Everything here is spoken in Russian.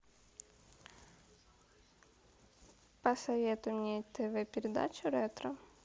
посоветуй мне тв передачу ретро